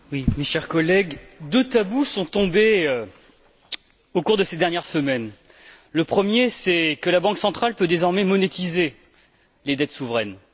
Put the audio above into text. Madame la Présidente, mes chers collègues, deux tabous sont tombés au cours de ces dernières semaines. Le premier, c'est que la Banque centrale peut désormais monétiser les dettes souveraines.